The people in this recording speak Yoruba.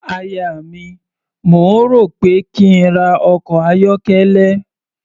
Aya mi, mò ń rò ó pé kí n ra ọkọ̀ ayọ́kẹ́lẹ́.